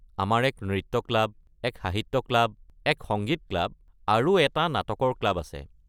আমাৰ এক নৃত্য ক্লাব, এক সাহিত্য ক্লাব, এক সংগীত ক্লাব আৰু এটা নাটকৰ ক্লাব আছে।